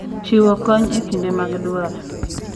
Chiwo kony e kinde mag dwaro,